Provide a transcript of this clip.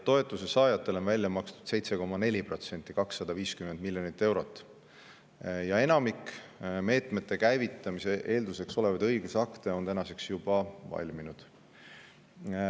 Toetuse saajatele on välja makstud 7,4% ehk 250 miljonit eurot ja enamik meetmete käivitamise eelduseks olevaid õigusakte on tänaseks juba valminud.